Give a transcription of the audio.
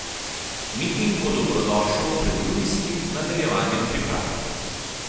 Miting bo dobrodošel pred junijskem nadaljevanjem priprav.